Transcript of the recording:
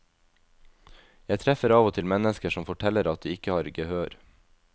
Jeg treffer av og til mennesker som forteller at de ikke har gehør.